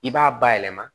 I b'a bayɛlɛma